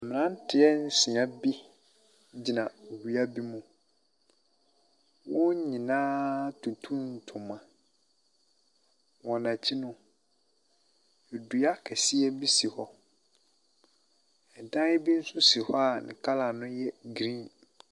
Mmeranteɛ nsia bi gyina bea bi mu, wɔn nyinaa atutu ntoma, wɔn akyi no, dua kɛseɛ bi si hɔ, dan bi nso si hɔ a ne colour ne yɛ blue.